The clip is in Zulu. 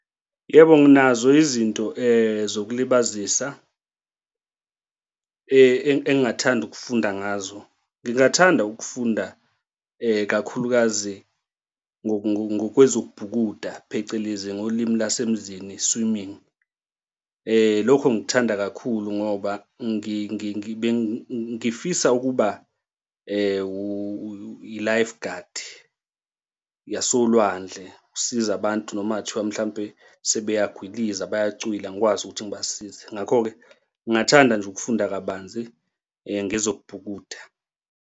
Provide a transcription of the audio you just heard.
Yebo, nginazo izinto zokuzilibazisa engingathanda ukufunda ngazo. Ngingathanda ukufunda kakhulukazi ngokwezokubhukuda phecelezi ngolimi lwasemzini swimming. Lokho ngikuthanda kakhulu ngoba ngifisa ukuba i-life guard yasolwandle, ukusiza abantu noma kungathiwa mhlampe sebeyagwiliza bayacwila ngikwazi ukuthi ngibasize. Ngakho-ke ngingathanda nje ukufunda kabanzi ngezokubhukuda.